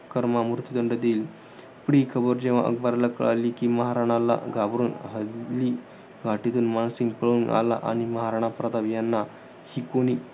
कर्म मृतुदंड देईल. पण ही खबर जेव्हा अकबराला कळाली, कि महाराणाला घाबरून हळदी घाटीतून मानसिंग पळून आला. आणि महाराणा प्रताप यांना ही कोणी